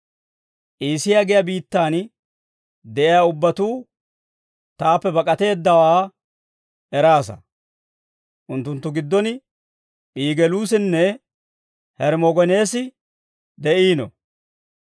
Iisiyaa giyaa biittaan de'iyaa ubbatuu taappe bak'ateeddawaa eraasa; unttunttu giddon Pigeluusinne Hermogeneesi de'iino.